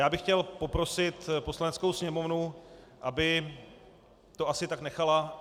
Já bych chtěl poprosit Poslaneckou sněmovnu, aby to asi tak nechala.